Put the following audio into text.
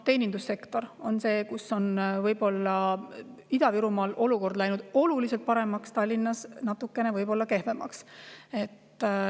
Teenindussektoris on Ida-Virumaal olukord läinud oluliselt paremaks, Tallinnas võib-olla natukene kehvemaks.